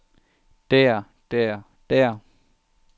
der der der